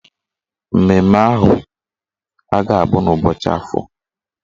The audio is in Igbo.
Mmemme ahụ a ga-abụ n'ụbọchị Afọ?